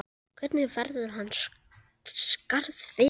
Hvernig verður hans skarð fyllt?